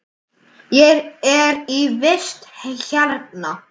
Ég er í vist hérna.